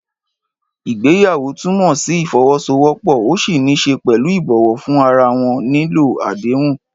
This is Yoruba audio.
Ìgbéyàwó túmọ̀ sí ìfọwọ́sowọ́pọ̀, ó ní í ṣe pẹ̀lú ìbọ̀wọ̀ fún ara wọn, nílò àdéhùn.